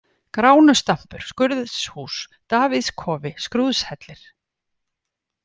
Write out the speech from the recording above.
Gránustampur, Skurðshús, Davíðskofi, Skrúðshellir